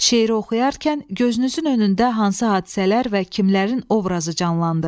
Şeiri oxuyarkən gözünüzün önündə hansı hadisələr və kimlərin obrazı canlandı?